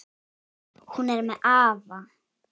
Hún er með afa.